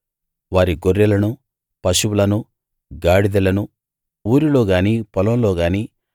వారి గొర్రెలనూ పశువులనూ గాడిదలనూ ఊరిలో గానీ పొలంలో గానీ